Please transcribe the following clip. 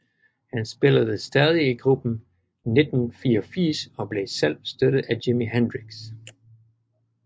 Han spillede stadig i gruppen 1984 og blev selv støttet af Jimi Hendrix